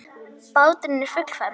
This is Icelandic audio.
Báturinn er fullfermdur.